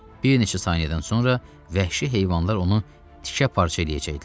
Bir neçə saniyədən sonra vəhşi heyvanlar onu tikə-parça eləyəcəkdilər.